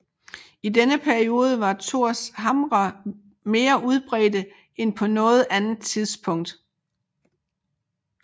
I denne periode var Thorshamre mere udbredte end på noget andet tidspunkt